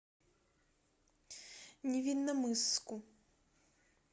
невинномысску